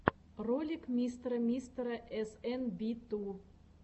ролик мистера мистера эс эн би ту